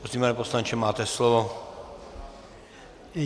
Prosím, pane poslanče, máte slovo.